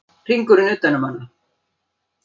Hringurinn utan um hana.